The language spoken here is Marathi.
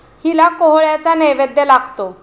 हिला कोहळ्याचा नैवैद्य लागतो.